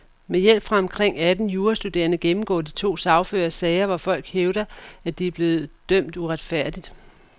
Med hjælp fra omkring atten jurastuderende gennemgår de to sagførere sager, hvor folk hævder, at de er blevet dømt uretfærdigt.